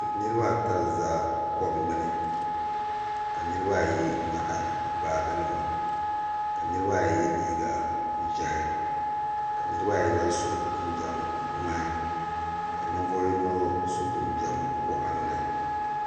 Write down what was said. Niriba ata n-za kom gbuni ka niriba ayi nyaɣi baajinima ka niriba ayi ye liiga ʒɛhi ka niriba ayi lahi so jinjam ŋmahi ka ninvuɣ' yino so jinjam waɣinli